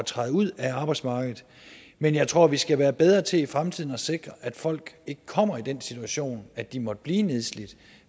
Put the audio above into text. træde ud af arbejdsmarkedet men jeg tror vi skal være bedre til i fremtiden at sikre at folk ikke kommer i den situation at de måtte blive nedslidt